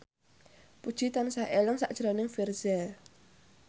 Puji tansah eling sakjroning Virzha